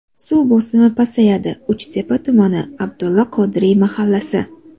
Suv bosimi pasayadi: Uchtepa tumani: Abdulla Qodiriy mahallasi.